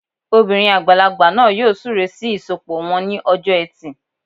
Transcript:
Obìnrin àgbàlagbà náà yóò súre sí ìsọpọ̀ wọn ní ọjọ́ ẹtì